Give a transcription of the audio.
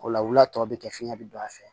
O la wula tɔ bɛ kɛ fiɲɛ bi don a fɛ